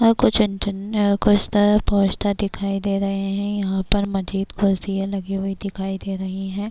ہے کچھ کچھ تو پوسٹر دکھائی دے رہے ہے۔ یہاں پر مجید کرسیا لگی ہوئی دکھائی دے رہی ہے۔